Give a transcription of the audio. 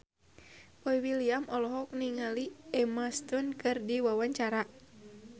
Boy William olohok ningali Emma Stone keur diwawancara